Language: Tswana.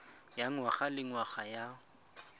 ya ngwaga le ngwaga ya